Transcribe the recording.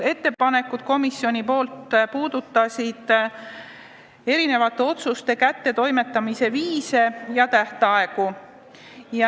Need puudutasid mitmesuguste otsuste kättetoimetamise viise ja tähtaegu.